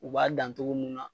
U b'a dan togo mun na